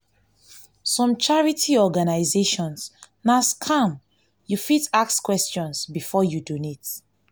some charity organization na scam you fit ask questions before you donate